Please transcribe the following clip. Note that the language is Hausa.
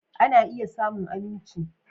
Ana iya samun aminci.